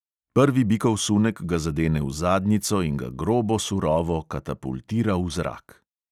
Prvi bikov sunek ga zadene v zadnjico in ga grobo surovo katapultira v zrak.